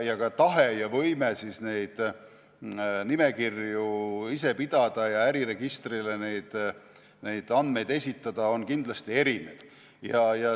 Ka tahe ja võime neid nimekirju ise pidada ja äriregistrile andmeid esitada on kindlasti erinev.